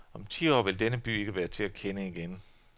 Om ti år vil denne by ikke være til at kende igen.